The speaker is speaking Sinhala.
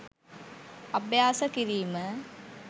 අභ්‍යාස කිරීම,